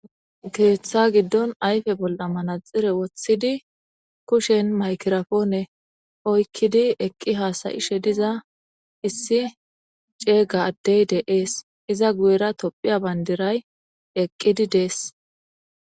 Keeththa giddon ayfe bol'a manaxire woththidi kushen maykirafoone oykkidi eqqi haasayishe diza issi ceega addey deees iza guyera tophiya bayndiray eqqidi dees.